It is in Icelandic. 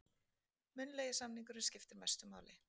Munnlegi samningurinn skiptir mestu máli